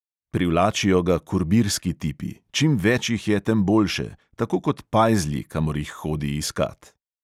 Privlačijo ga kurbirski tipi, čim več jih je, tem boljše, tako kot pajzlji, kamor jih hodi iskat.